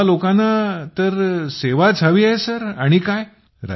आम्हा लोकांना सेवाच तर हवी आहे आणि काय